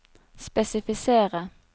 spesifisere